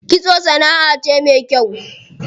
Kitso sanaʼa ce me kyau.